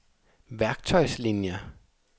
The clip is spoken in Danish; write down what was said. værktøjslinier